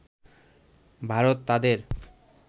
ভারত তাদের